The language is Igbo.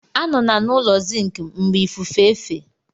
Anọla n'ụlọ zinc mgbe ifufe fe!